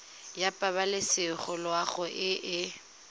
ya pabalesego loago e e